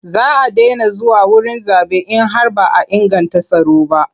Za a daina zuwa wurin zaɓe in har ba a inganta tsaro ba.